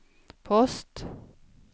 post